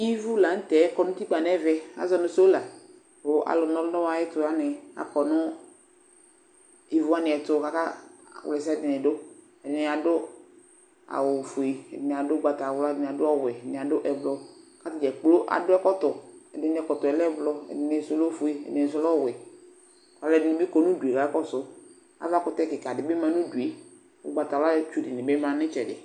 Ivu la nʋ tɛ kɔ nʋ utikpǝ nʋ ɛmɛ kʋ azɔ nʋ sola kʋ alʋna ɔlʋ nʋ ayɛtʋ wanɩ akɔ nʋ ivu wanɩ ɛtʋ kʋ akawla ɛsɛ dɩnɩ dʋ Ɛdɩnɩ adʋ awʋfue, ɛdɩnɩ adʋ ʋgbatawla, ɛdɩnɩ adʋ ɔwɛ, ɛdɩnɩ adʋ ɛblɔ kʋ atanɩ dza kplo adʋ ɛkɔtɔ Ɛdɩnɩ ɛkɔtɔ yɛ lɛ ʋblɔ, ɛdɩnɩ sʋ lɛ ofue, ɛdɩnɩ sʋ lɛ ɔwɛ Alʋɛdɩnɩ bɩ kɔ nʋ udu yɛ kʋ akakɔsʋ Avakʋtɛ kɩka dɩ bɩ ma nʋ udu kʋ ʋgbatawlatsu dɩnɩ bɩ nʋ ɩtsɛdɩ